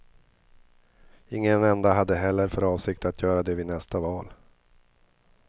Ingen enda hade heller för avsikt att göra det vid nästa val.